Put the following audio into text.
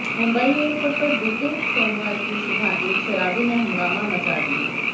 Mumbai airport पर बीते सोमवार की सुबह एक शराबी ने हंगामा मचा दिया